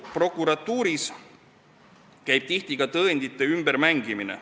Prokuratuuris käib tihti ka tõendite ümbermängimine.